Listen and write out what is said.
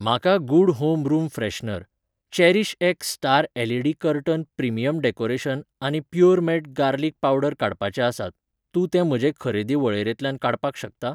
म्हाका good home room freshener, Cherish X Star LED. Curtain premium decoration आनी Puremate garlic powder काडपाचे आसात, तूं ते म्हजे खरेदी वळेरेंतल्यान काडपाक शकता?